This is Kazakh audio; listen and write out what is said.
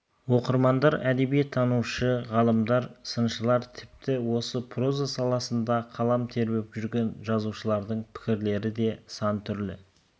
оқырмандар әдебиеттанушы ғалымдар сыншылар тіпті осы проза саласында қалам тербеп жүрген жазушылардың пікірлері де сан түрлі